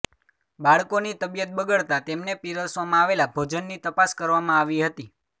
બાળકોની તબિયત બગડતા તેમને પિરસવામાં આવેલા ભોજનની તપાસ કરવામાં આવી હતી